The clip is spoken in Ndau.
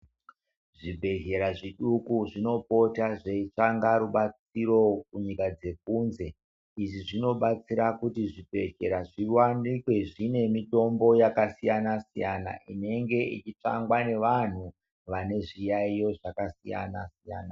Zvibhedhlera zviduku zvinopota zveitsvaka rubatsiro kunyika dzekunze izvi zvinobatsira kuti zvibhedhlera zvivanikwe zvine mutombo yakasiyana siyana inenge ichitsvangwa nevanhu vane zviyayo zvakasiya a siyana.